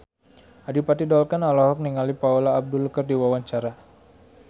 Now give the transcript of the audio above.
Adipati Dolken olohok ningali Paula Abdul keur diwawancara